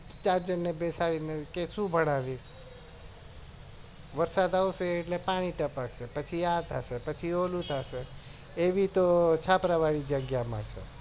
ચાર જાનને બેસાડી શું ભણાવીશ વરસાદ આવશે એટલે પાણી ટપકશે પસી આ થશે પસુઈ ઓલું થશે એવી તો છાપરા વળી જગ્યા મળશે